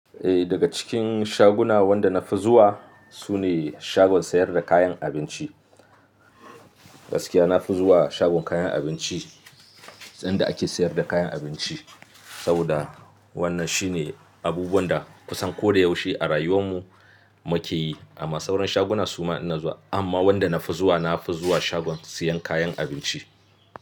Eh daga cikin shaguna wanda na fi zuwa sune shagon sayar da kayan abinci. Gaskiya na fi zuwa shagon kayan abinci, inda ake sayar da kayan abinci saboda wannan shine abubuwan da kusan ko da yaushe a rayuwan mu muke yi. Amma sauran shaguna suma ina zuwa amma wanda na fi zuwa na fi zuwa shagon siyan kayan abinci.